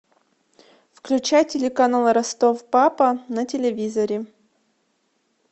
включай телеканал ростов папа на телевизоре